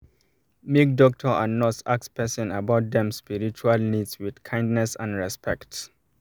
make doctor and nurse ask person about dem spiritual needs with kindness and respect